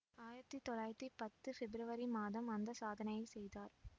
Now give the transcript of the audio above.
ஆயிரத்தி தொள்ளாயிரத்தி பத்து பிப்ரவரி மாதம் அந்த சாதனையைச் செய்தார்